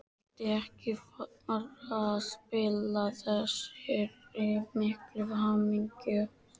Vildi ekki fara að spilla þessari miklu hamingju.